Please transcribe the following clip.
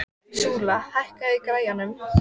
Súla, hækkaðu í græjunum.